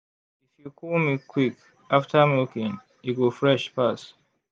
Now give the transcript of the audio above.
if you cool milk quick after milking e go fresh pass.